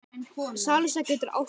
Salsa getur átt við